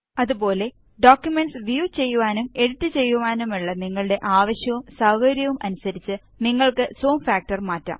അതുപോലെ documents view ചെയ്യുവാനും edit ചെയ്യുവാനുമുള്ള നിങ്ങളുടെ ആവശ്യവും സൌകര്യവും അനുസരിച്ച് നിങ്ങള്ക്ക് സൂം ഫാക്ടര് മാറ്റാം